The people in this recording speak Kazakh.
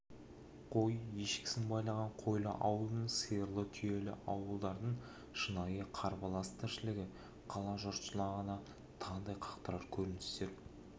қой-ешкісін байлаған қойлы ауылдың сиырлы түйелі ауылдардың шынайы қарбалас тіршілігі қала жұртшылығына таңдай қақтырар көріністер